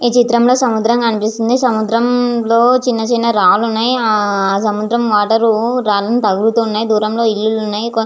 ఈ చిత్రం లో సముద్రం కనిపిసస్తుంది సముద్రం లో చిన్న చిన్న రాళ్లున్నాయ్ ఆహ్ సముద్రం అలలు రాళ్లను తలుగుతున్నాయ్ దూరంలో ఉన్నాయ్.